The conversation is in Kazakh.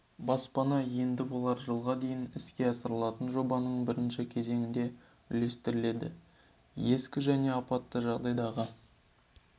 баспана енді олар жылға дейін іске асырылатын жобаның бірінші кезеңінде үлестіріледі ескі және апатты жағдайдағы